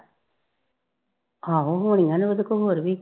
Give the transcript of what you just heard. ਆਹੋ ਹੋਣੀਆਂ ਨੇ ਓਦੇ ਕੋਲ ਹੋਰ ਵੀ